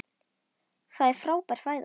Það er frábær fæða.